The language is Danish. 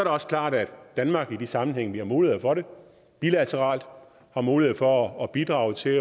også klart at danmark i de sammenhænge vi har mulighed for det bilateralt har mulighed for at bidrage til